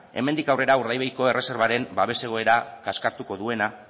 hemendik aurrera urdaibaiko erreserbaren babes egoera kaskartuko duena